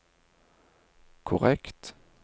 korrekt